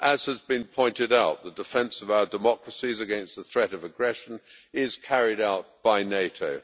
As has been pointed out, the defence of our democracies against the threat of aggression is carried out by NATO.